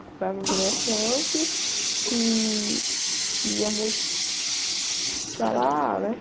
Comprava ingresso antes e íamos para lá, né?